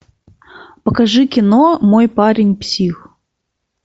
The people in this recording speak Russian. покажи кино мой парень псих